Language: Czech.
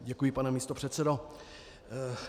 Děkuji, pane místopředsedo.